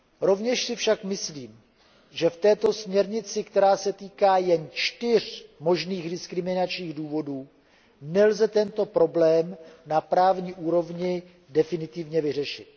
Rovněž si však myslím, že v této směrnici, která se týká jen čtyř možných diskriminačních důvodů, nelze tento problém na právní úrovni definitivně vyřešit.